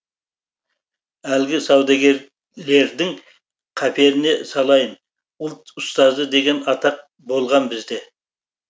әлгі саудагерлердің қаперіне салайын ұлт ұстазы деген атақ болған бізде